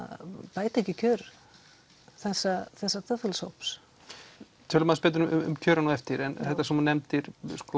bæta ekki kjör þessa þessa þjóðfélagshóps tölum aðeins betur um kjörin á eftir það sem þú nefndir